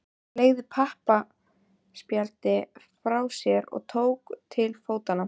Fleygði pappaspjaldinu frá sér og tók til fótanna.